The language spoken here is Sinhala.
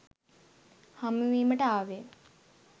හමුවීමට ආවෙ.